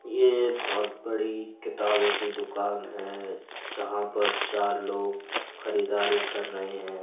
ये बहुत बड़ी किताबों की दुकान है जहाँ पर चार लोग खरीदारी कर रहे हैं।